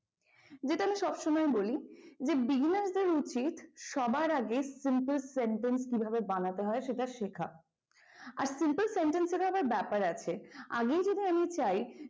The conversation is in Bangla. যেটা আমি সবসময়ই বলি যে beginner's দের উচিত সবার আগে simple sentence কিভাবে বানাতে হয় সেটা শেখা আর simple sentence এর ও আবার ব্যাপার আছে আগেই যেটা চায়।